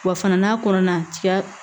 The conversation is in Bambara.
Wa fana n'a kɔnɔna tiga